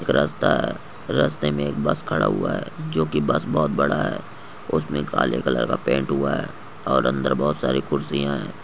एक रस्ता है रस्ते में एक बस खड़ा हुआ है जो की बस बहुत बड़ा है उसमे काले कलर का पेंट हुआ है और अंदर बहुत सारी खुर्सिया है।